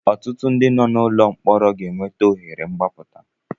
Ọtụtụ nọ n'ụlọ mkpọrọ ga enweta ohere mgbaputa.